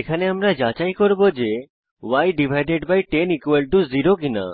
এখানে আমরা যাচাই করব ই10 0 কিনা